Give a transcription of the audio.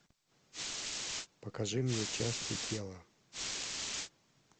покажи мне части тела